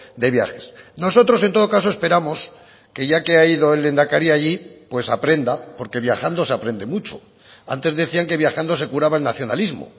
de viajes nosotros en todo caso esperamos que ya que ha ido el lehendakari allí pues aprenda porque viajando se aprende mucho antes decían que viajando se curaba el nacionalismo